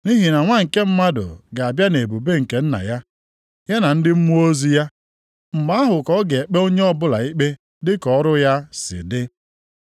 Nʼihi na Nwa nke Mmadụ ga-abịa nʼebube nke Nna ya, ya na ndị mmụọ ozi ya. Mgbe ahụ ka ọ ga-ekpe onye ọbụla ikpe dị ka ọrụ ya si dị.